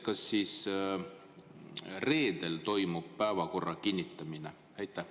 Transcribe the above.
Kas siis reedel toimub päevakorra kinnitamine?